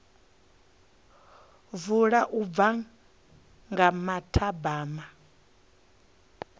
vula u bva nga mathabama